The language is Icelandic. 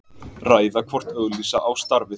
Ræða hvort auglýsa á starfið